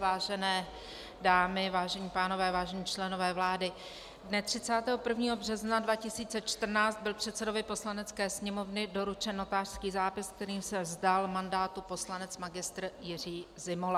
Vážené dámy, vážení pánové, vážení členové vlády, dne 31. března 2014 byl předsedovi Poslanecké sněmovny doručen notářský zápis, kterým se vzdal mandátu poslanec magistr Jiří Zimola.